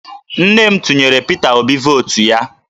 Nne m tụnyere Pita Obi vootu ya